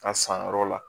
A san yɔrɔ la